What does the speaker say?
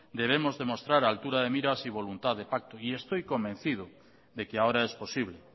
debemos demostrar altura de miras y voluntad de pacto y estoy convencido de que ahora es posible